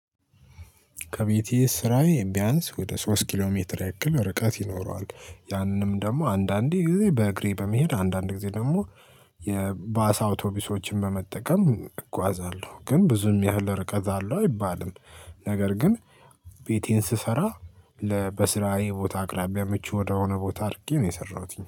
ከቤቴ ስራዬ ቢያንስ ወደ ሶስት ኪሎ ሜትር ያክል ርቀት ይኖረዋል። ያንንም ደግሞ አንዳንዴ ጊዜ በእግሬ በመሄድ አንዳንዴ ደግሞ የባሳ አውቶቢሶችን በመጠቀም እጓዛለሁ። ግን ብዙም ያህል ርቀት አለው አይባልም። ነገር ግን ቤቴን ስሰራ ለ በስራዬ ቦታ አቅራቢያ ምቹ ወደሆነ ቦታ አድርጌ ነው የሰራሁት